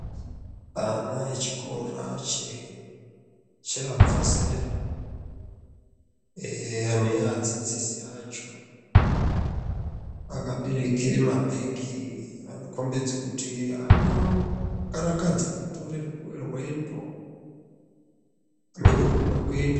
Ana echikora cheabva zera ee neadzidzisi acho. Akaberekere mabegi anokombidza muti anokarakadza kutore rendo, hameno kunoda kuendwa.